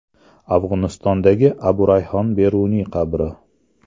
Afg‘onistondagi Abu Rayhon Beruniy qabri.